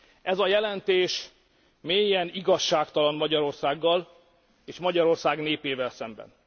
Ez a jelentés mélyen igazságtalan Magyarországgal és Magyarország népével szemben.